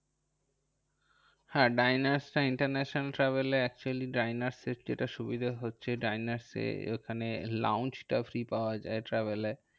হ্যাঁ ডাইনার্সটা International travel এ actually ডাইনার্স এর যেটা সুবিধা হচ্ছে ডাইনার্স ওখানে launch টা free পাওয়া যায় travel এ।